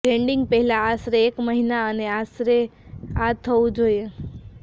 landing પહેલાં આશરે એક મહિના અને આશરે આ થવું જોઈએ